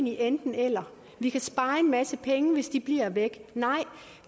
enten eller og vi kan spare en masse penge hvis de bliver væk nej